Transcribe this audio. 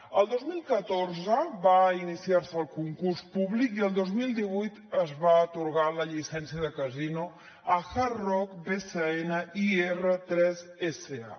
el dos mil catorze va iniciar se el concurs públic i el dos mil divuit es va atorgar la llicència de casino a hard rock bcn ir3 sa